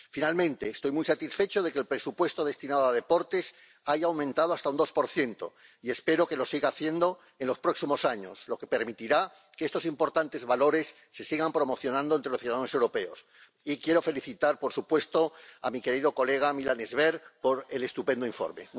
Finalmente, estoy muy satisfecho de que el presupuesto destinado a deportes haya aumentado hasta un 2 y espero que lo siga haciendo en los próximos años, lo que permitirá que estos importantes valores se sigan promocionando entre los ciudadanos europeos. Y quiero felicitar, por supuesto, a mi querido colega Milan Zver por el estupendo informe.